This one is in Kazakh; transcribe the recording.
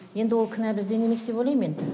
енді ол кінә бізден емес деп ойлайм енді